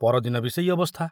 ପରଦିନ ବି ସେଇ ଅବସ୍ଥା।